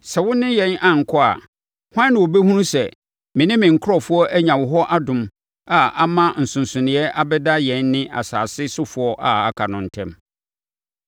Sɛ wo ne yɛn ankɔ a, hwan na ɔbɛhunu sɛ me ne me nkurɔfoɔ anya wo hɔ adom a ama nsonsonoeɛ abɛda yɛn ne asase sofoɔ a aka no ntam?”